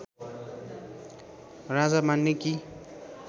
राजा मान्ने कि